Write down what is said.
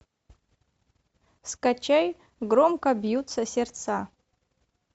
скачай громко бьются сердца